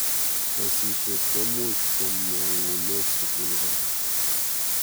Sasishet ko much komanune sukul kora